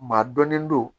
Maa dɔnnen don